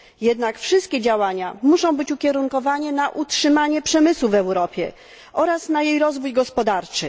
Jednak wszystkie działania muszą być ukierunkowane na utrzymanie przemysłu w Europie oraz na jej rozwój gospodarczy.